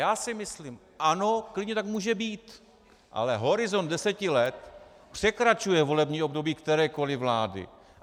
Já si myslím ano, klidně tak může být, ale horizont deseti let překračuje volební období kterékoli vlády.